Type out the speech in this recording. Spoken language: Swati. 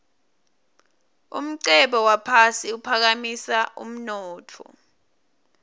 umcebo waphasi uphakamisa umnotfo